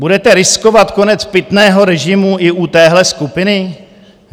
Budete riskovat konec pitného režimu i u téhle skupiny?